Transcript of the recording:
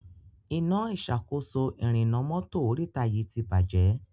Iná ìṣàkóso ìrìnnà mọ́tò oríta yí tí bàjé.